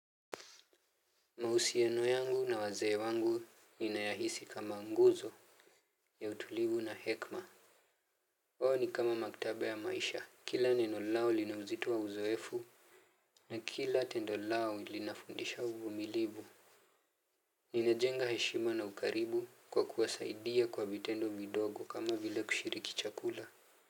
Mahusiano yangu na wazee wangu ninayahisi kama nguzo ya utulivu na hekma ni kama maktaba ya maisha kila neno lao lina uzito wa uzoefu. Na kila tendo lao linafundisha uvumilivu. Ninajenga heshima na ukaribu kwa kuwasaidia kwa vitendo vidogo kama vile kushiriki chakula.